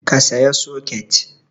Ka saya soket!